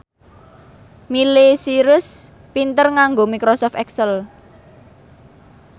Miley Cyrus pinter nganggo microsoft excel